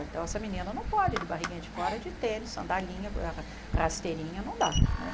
Então, essa menina não pode, de barriguinha de fora, de tênis, sandalinha ah, rasteirinha, não dá.